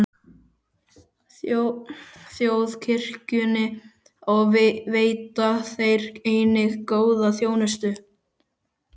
Þjóðkirkjunni og veita þeir einnig góða þjónustu.